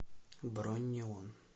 бронь неон